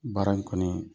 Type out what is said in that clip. Baara in kɔni